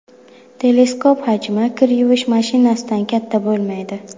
Teleskop hajmi kir yuvish mashinasidan katta bo‘lmaydi.